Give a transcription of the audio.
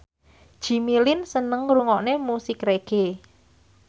Jimmy Lin seneng ngrungokne musik reggae